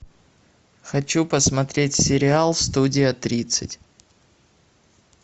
хочу посмотреть сериал студия тридцать